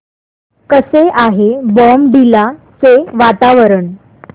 कसे आहे बॉमडिला चे वातावरण